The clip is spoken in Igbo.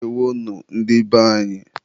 Ndeewonu, ndị be anyị.